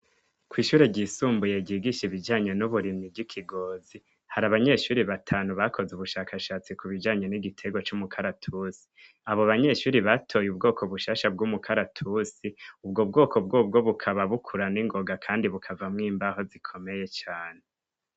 Ko'ishure ryisumbuye gigisha ibijanyo n'uburimyi ry'ikigozi hari abanyeshuri batanu bakoze ubushakashatsi ku bijanyo n'igitego c'umukaratusi abo banyeshuri batoye ubwoko bushasha bw'umukaratusi ubwo bwoko bwobwo bukaba bukurana ingoga, kandi bukavamwo imbaho zikomeye cane.